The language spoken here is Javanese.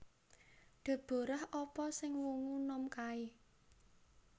Deborah apa sing wungu nom kae